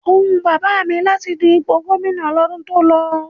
O wù Bàbá mi láti du ipò Gómìnà lọ́dún tó lọ.